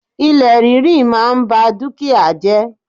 Ilẹ̀ ríri máa n ba dúkìá jẹ́